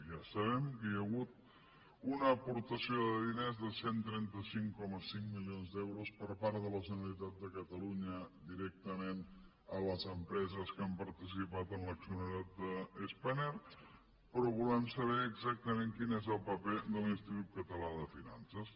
ja sabem que hi ha hagut una aportació de diners de cent i trenta cinc coma cinc milions d’euros per part de la generalitat de catalunya directament a les empreses que han participat en l’accionariat de spanair però volem saber exactament quin és el paper de l’institut català de finances